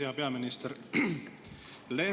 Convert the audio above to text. Hea peaminister!